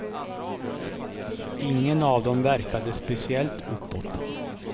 Ingen av dem verkade speciellt uppåt.